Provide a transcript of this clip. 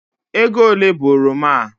Ego ole bụ oroma a?